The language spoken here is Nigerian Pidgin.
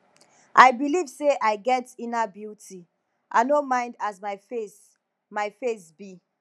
i belive sey i get inner beauty i no mind as my face my face be